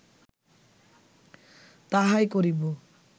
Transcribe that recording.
তাহাই করিব